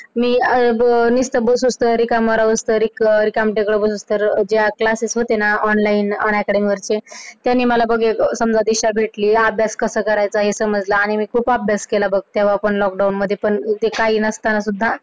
त्यांनी मला एक नवी दिशा भेटली अभ्यास कसा करायचा हे समजलं आणि आम्ही खूप अभ्यास केला बघ तेव्हा पण lockdown मध्ये पण काही नसताना सुद्धा.